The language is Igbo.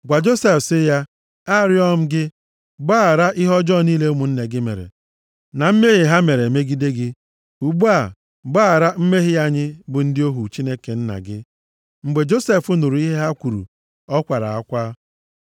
‘Gwa Josef sị ya, Arịọọ m gị, gbaghara ihe ọjọọ niile ụmụnne gị mere, na mmehie ha mere megide gị.’ Ugbu a, gbaghara mmehie anyị bụ ndị ohu Chineke nna gị.” Mgbe Josef nụrụ ihe ha kwuru, ọ kwara akwa.